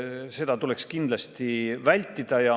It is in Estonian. Seda tuleks kindlasti vältida.